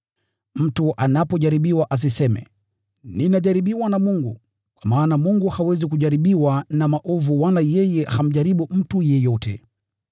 Mtu anapojaribiwa asiseme, “Ninajaribiwa na Mungu.” Kwa maana Mungu hawezi kujaribiwa na maovu wala yeye hamjaribu mtu yeyote.